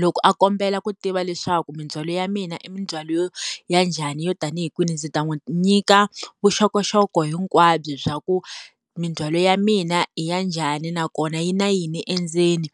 loko a kombela ku tiva leswaku mindzhwalo ya mina i mindzhwalo yo ya njhani yo tanihi kwihi ndzi ta n'wi nyika vuxokoxoko hinkwabyo bya ku mindzhwalo ya mina i ya njhani nakona yi na yini endzeni